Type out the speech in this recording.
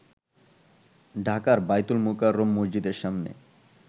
ঢাকার বায়তুল মোকাররম মসজিদের সামনে